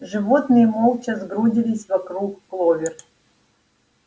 животные молча сгрудились вокруг кловер